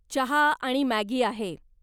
चहा आणि मॅगी आहे.